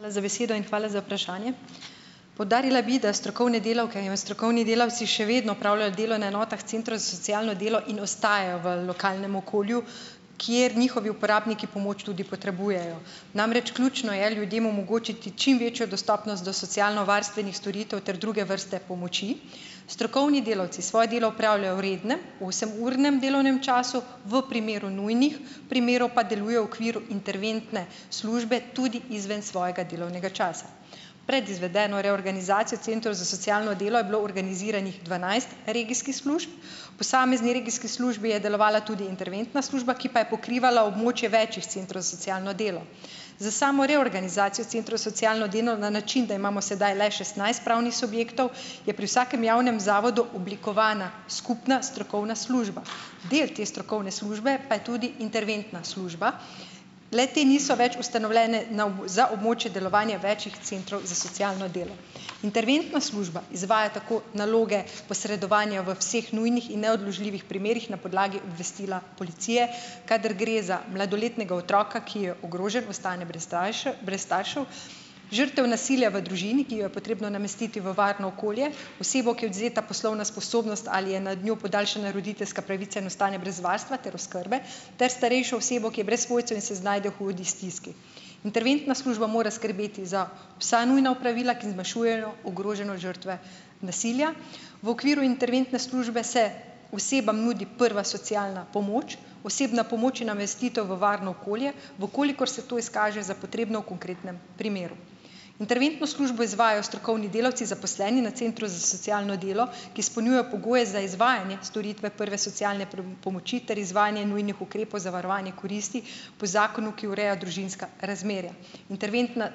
Hvala za besedo in hvala za vprašanje. Poudarila bi, da strokovne delavke in strokovni delavci še vedno opravljajo delo na enotah centrov za socialno delo in ostajajo v lokalnem okolju, kjer njihovi uporabniki pomoč tudi potrebujejo. Namreč, ključno je ljudem omogočiti čim večjo dostopnost do socialnovarstvenih storitev ter druge vrste pomoči. Strokovni delavci svoje delo opravljajo v rednem, osemurnem delovnem času. V primeru nujnih primerov pa delujejo v okviru interventne službe tudi izven svojega delovnega časa. Pred izvedeno reorganizacijo centrov za socialno delo, je bilo organiziranih dvanajst regijskih služb. V posamezni regijski službi je delovala tudi interventna služba, ki pa je pokrivala območje večih centrov za socialno delo. Za samo reorganizacijo centrov za socialno delo, na način, da imamo sedaj le šestnajst pravnih subjektov, je pri vsakem javnem zavodu oblikovana skupna strokovna služba. Del te strokovne službe pa je tudi interventna služba. Le-te niso več ustanovljene na za območje delovanja več centrov za socialno delo. Interventna služba izvaja tako naloge posredovanja v vseh nujnih in neodložljivih primerih na podlagi obvestila policije, kadar gre za mladoletnega otroka, ki je ogrožen, v stanju brez brez staršev, žrtev nasilja v družini, ki jo je potrebno namestiti v varno okolje, osebo, ki je odvzeta poslovna sposobnost ali je nad njo podaljšana roditeljska pravica in ostane brez varstva ter oskrbe, ter starejšo osebo, ki je brez svojcev in se znajde v hudi stiski. Interventna služba mora skrbeti za vsa nujna opravila, ki zmanjšujejo ogroženost žrtve nasilja. V okviru interventne službe se osebam nudi prva socialna pomoč. Osebna pomoč je namestitev v varno okolje, v kolikor se to izkaže za potrebno v konkretnem primeru. Interventno službo izvajajo strokovni delavci, zaposleni na centru za socialno delo, ki izpolnjujejo pogoje za izvajanje storitve prve socialne pomoči ter izvajanje nujnih ukrepov za varovanje koristi, po zakonu, ki ureja družinska razmerja. Interventna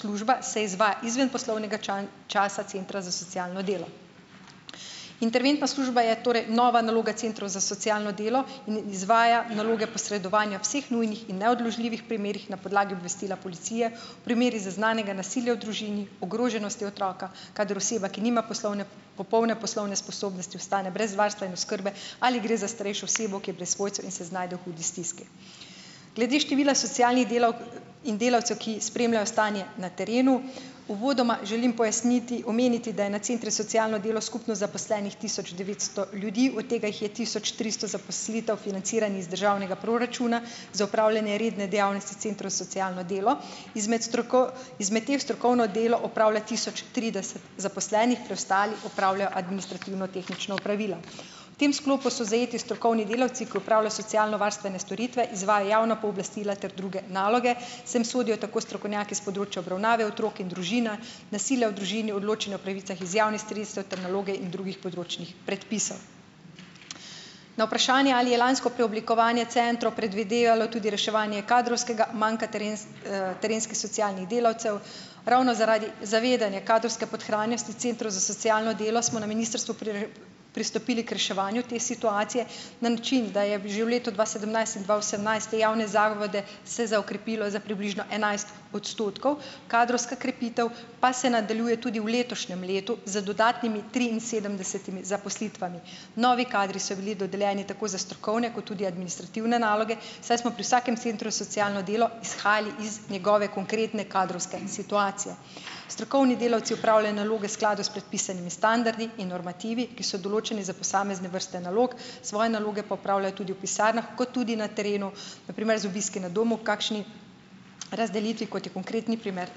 služba se izvaja izven poslovnega časa centra za socialno delo. Interventna služba je torej nova naloga centrov za socialno delo in izvaja naloge posredovanja vseh nujnih in neodložljivih primerih na podlagi obvestila policije, v primerih zaznanega nasilja v družini, ogroženosti otroka, kadar oseba, ki nima poslovne popolne poslovne sposobnosti, ostane brez varstva in oskrbe, ali gre za starejšo osebo, ki je pri svojcu in se znajde v hudi stiski. Glede števila socialnih delavk in delavcev, ki spremljajo stanje na terenu - uvodoma želim pojasniti, omeniti, da je na centrih za socialno delo skupno zaposlenih tisoč devetsto ljudi, od tega jih je tisoč tristo zaposlitev financiranih z državnega proračuna, za opravljanje redne dejavnosti centrov za socialno delo. Izmed izmed teh, strokovno delo opravlja tisoč trideset zaposlenih, preostali opravljajo administrativno- tehnična opravila. V tem sklopu so zajeti strokovni delavci, ki opravljajo socialnovarstvene storitve, izvajajo javna pooblastila ter druge naloge. Sem sodijo tako strokovnjaki s področja obravnave otrok in družina, nasilja v družini, odločanje o pravicah iz javnih sredstev ter naloge in drugih področnih predpisov. Na vprašanje, ali je lansko preoblikovanje centrov predvidevalo tudi reševanje kadrovskega manka terenskih socialnih delavcev - ravno zaradi zavedanja kadrovske podhranjenosti centrov za socialno delo, smo na ministrstvu pristopili k reševanju te situacije, na način, da je že v letu dva sedemnajst in dva osemnajst, te javne zavode, se "zaokrepilo" za približno enajst odstotkov, kadrovska krepitev pa se nadaljuje tudi v letošnjem letu, z dodatnimi triinsedemdesetimi zaposlitvami. Novi kadri so bili dodeljeni tako za strokovne kot tudi administrativne naloge, saj smo pri vsakem centru za socialno delo izhajali iz njegove konkretne kadrovske situacije. Strokovni delavci opravljajo naloge v skladu s predpisanimi standardi in normativi, ki so določeni za posamezne vrste nalog, svoje naloge pa opravljajo tudi v pisarnah, kot tudi na terenu, na primer z obiski na domu, kakšni razdelitvi, kot je konkretni primer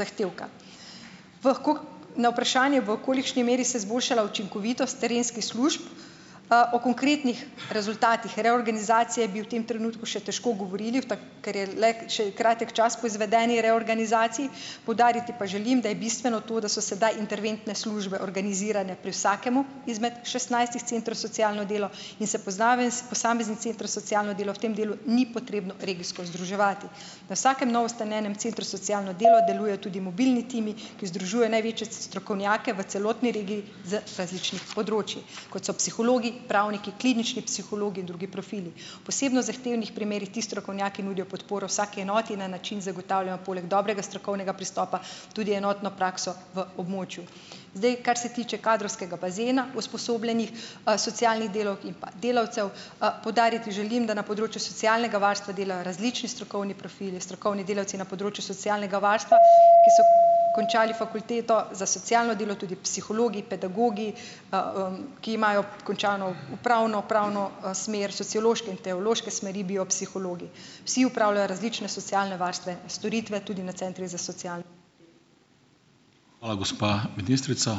zahtevka. Na vprašanje, v kolikšni meri se je izboljšala učinkovitost terenskih slušb, o konkretnih rezultatih reorganizacije bi v tem trenutku še težko govorili, v ker je le še kratek čas po izvedeni reorganizaciji. Poudariti pa želim, da je bistveno to, da so sedaj interventne službe organizirane pri vsakem izmed šestnajstih centrov za socialno delo in se posameznim centrom za socialno delo v tem delu ni potrebno regijsko združevati. Na vsakem novoustanovljenem centru za socialno delo delujejo tudi mobilni timi, ki združujejo največje strokovnjake v celotni regiji z različnih področij, kot so psihologi, pravniki, klinični psihologi in drugi profili. V posebno zahtevnih primerih ti strokovnjaki nudijo podporo vsaki enoti na način, zagotavljajo poleg dobrega strokovnega pristopa tudi enotno prakso v območju. Zdaj, kar se tiče kadrovskega bazena usposobljenih, socialnih delavk in pa delavcev, poudariti želim, da na področju socialnega varstva delajo različni strokovni profili, strokovni delavci na področju socialnega varstva, ki so končali fakulteto za socialno delo, tudi psihologi, pedagogi, ki imajo končano upravno, pravno, smer, sociološke in teološke smeri, biopsihologi. Vsi opravljajo različne socialne varstvene storitve tudi na centrih za socialno delo ...